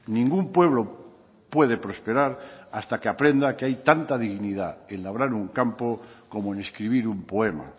ningún pueblo puede prosperar hasta que aprenda que hay tanta dignidad en labrar un campo como en escribir un poema